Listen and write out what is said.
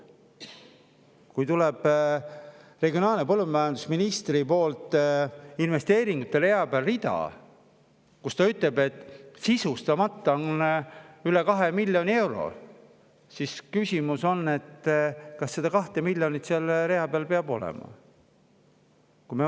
Kui regionaal- ja põllumajandusministrilt tuleb info, et investeeringute rea peal on sisustamata üle 2 miljoni euro, siis tekib küsimus, kas see 2 miljonit üldse selle rea peal peab olema.